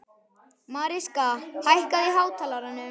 Mariska, hækkaðu í hátalaranum.